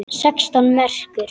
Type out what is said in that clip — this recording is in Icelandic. Sextán merkur!